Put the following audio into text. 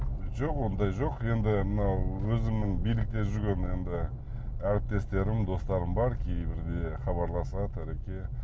жоқ ондай жоқ енді мынау өзімнің билікте жүрген енді әріптестерім достарым бар кейбірде хабарласады ареке